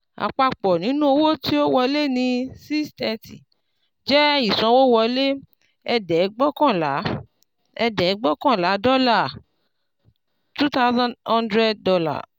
àpapọ̀ nínú owó tí ó wọlé ní six thirty jé ìsanwówọlé ẹ̀ẹ̀dẹ́gbọ̀kànlá ẹ̀ẹ̀dẹ́gbọ̀kànlá dọ́là two thousand hundred dollar